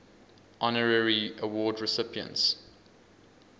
honorary award recipients